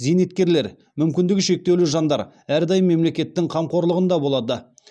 зейнеткерлер мүмкіндігі шектеулі жандар әрдайым мемлекеттің қамқорлығында болады